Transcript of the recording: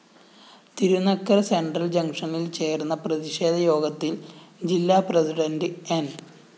Thirunakkara central ജങ്ഷനില്‍ ചേര്‍ന്ന പ്രതിഷേധ യോഗത്തില്‍ജില്ലാ പ്രസിഡന്റ് ന്‌